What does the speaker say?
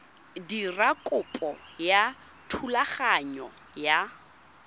dira kopo ya thulaganyo ya